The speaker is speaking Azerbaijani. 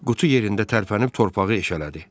Qutu yerində tərpənib torpağı eşələdi.